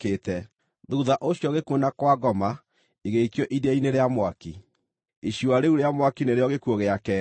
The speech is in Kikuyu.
Thuutha ũcio gĩkuũ na Kwa-ngoma igĩikio iria-inĩ rĩa mwaki. Icua rĩu rĩa mwaki nĩrĩo gĩkuũ gĩa keerĩ.